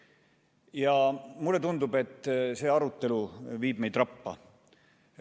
Ja mulle tundub, et see arutelu viib meid rappa.